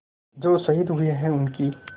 जो शहीद हुए हैं उनकी